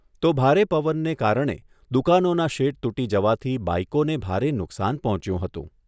તો ભારે પવને કારણે દુકાનોના શેડ તૂટી જવાથી બાઈકોને ભારે નુકસાન પહોંચ્યું હતું.